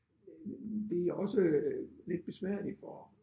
Det er også lidt besværligt for